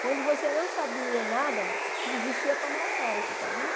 Quando você não sabia nada, ti existia palmatória, você sabia?